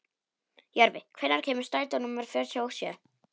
Jörvi, hvenær kemur strætó númer fjörutíu og sjö?